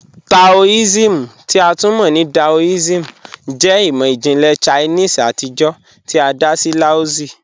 Taoism, ti a tun mọ ni Daoism, jẹ imọ-jinlẹ Chinese atijọ ti a da sí Laozi.